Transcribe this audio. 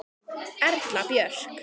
Erla Björk.